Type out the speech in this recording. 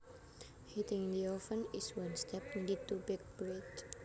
Heating the oven is one step needed to bake bread